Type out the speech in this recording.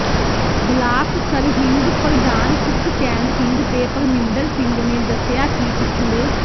block Sirhind ਪ੍ਰਧਾਨ ਸੁਖਚੈਨ ਸਿੰਘ ਤੇ ਪਰਮਿੰਦਰ ਸਿੰਘ ਨੇ ਦੱਸਿਆ ਕਿ ਪਿਛਲੇ